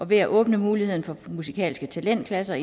ved at åbne mulighed for musikalske talentklasser